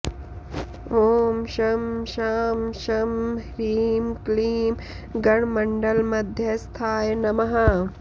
ॐ शं शां षं ह्रीं क्लीं गणमण्डलमध्यस्थाय नमः